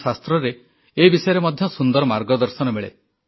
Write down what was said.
ଆମ ଶାସ୍ତ୍ରରେ ଏ ବିଷୟରେ ମଧ୍ୟ ସୁନ୍ଦର ମାର୍ଗଦର୍ଶନ ମିଳେ